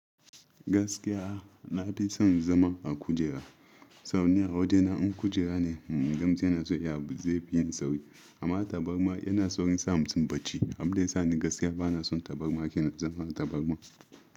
Gaskiya na fi son zama a kujera saboda ni a waje na in kujera ne in gan mutum yana son ya abu zai yin sauri, amma tabarma yana saurin sa mutum bacci abinda yasa ni gaskiya bana son tabarma kenan zaman tabarma.